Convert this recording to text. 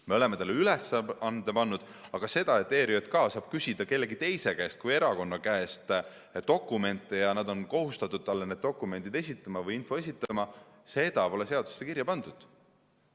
Me oleme talle ülesande pannud, aga seda, et ERJK saaks küsida kellegi teise kui erakonna käest dokumente ja need oleksid kohustatud talle neid dokumente või infot esitama, pole seadusesse kirja pandud.